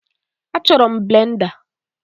Achọrọ m blenda